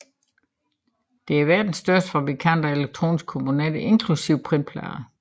Det er verdens største fabrikant af elektroniske komponenter inklusiv printplader